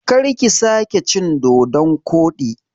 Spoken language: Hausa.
Karki sake cin dodon koɗi!